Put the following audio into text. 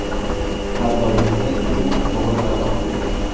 Har doimgidek u to‘g‘ri tanlov qildi”.